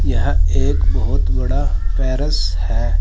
यह एक बहोत बड़ा पैरस है।